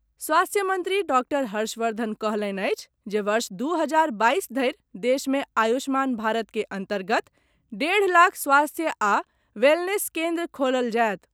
स्वास्थ्य मंत्री डॉक्टर हर्षवर्धन कहलनि अछि जे वर्ष दू हजार बाईस धरि देश मे आयुष्मान भारत के अंतर्गत डेढ़ लाख स्वास्थ्य आ वेलनेस केन्द्र खोलल जायत।